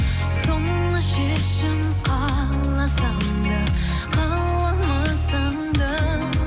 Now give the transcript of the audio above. соңғы шешім қаласаң да қаламасаң да